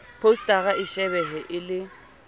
phousetara e shebehe e le